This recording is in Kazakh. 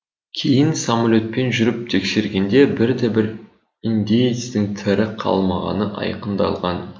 кейін самолетпен жүріп тексергенде бір де бір индеецтің тірі қалмағаны айқындалған